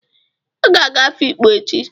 Ị ga-aga Afikpo echi!